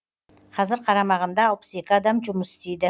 қазір қарамағында алпыс екі адам жұмыс істейді